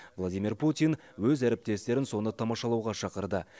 владимир путин өз әріптестерін соны тамашалауға шақырды